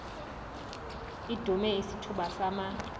idume isithuba sama